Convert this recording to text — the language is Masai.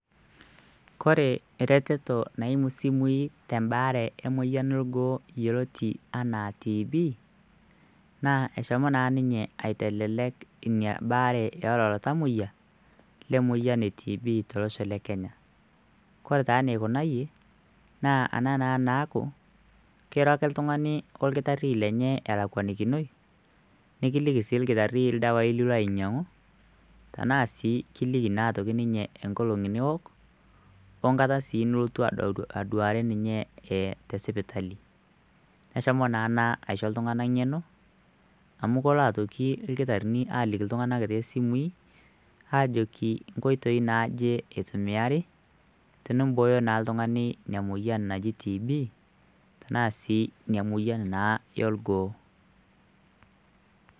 kore ereteto naimu isimui tembaare emoyian elgoo yioloti anaa TB naa eshomo naa ninye aitelelek inia baare elelo tamoyiak lemoyian e TB tolosho le kenya kore taa nikunayie naa ana naa naaku kiro ake iltung'ani orkitarri lenye elakwanikinoi nikiliki sii ilkitarri ildawai lilo ainyiang'u tenaa sii kiliki naa atoki ninye nkolong'i niwok onkata sii nilotu aduare ninye eh, tesipitali neshomo naa ena aisho iltung'anak ng'eno amu kolo atoki ilkitarrini aliki iltung'anak tesimui ajoki nkoitoi naaje itumiari tenimbooyo naa eltung'ani emoyian naji TB tenaa sii inia naa moyian elgoo.